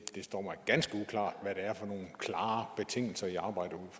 det står mig ganske uklart hvad det er for nogle klare betingelser i arbejder